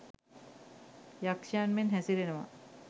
යක්ෂයන් මෙන් හැසිරෙනවා.